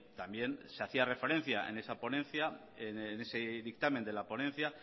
también se hacía referencia en esa ponencia en ese dictamen de la ponencia